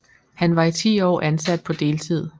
Han var i 10 år ansat på deltid